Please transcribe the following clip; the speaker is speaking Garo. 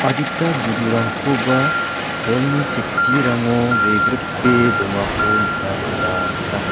adita budurangkoba bolni cheksirango wegripe dongako nikna gita man·a.